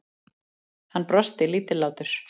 Hann brosti, lítillátur.